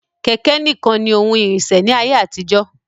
Kẹ̀kẹ̀ ní kan ní oun ìrìnsẹ̀ ní ayé àtijó.